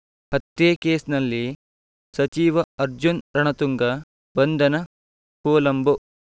ಹತ್ಯೆ ಕೇಸ್ ನಲ್ಲಿ ಸಚಿವ ಅರ್ಜುನ್ ರಣತುಂಗ ಬಂಧನ ಕೊಲಂಬೋ